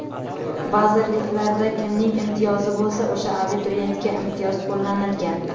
Vazirliklarda kimning imtiyozi bo‘lsa, o‘sha abituriyentga imtiyoz qo‘llanilgan.